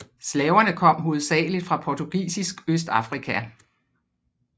Slaverne kom hovedsageligt fra portugisisk Østafrika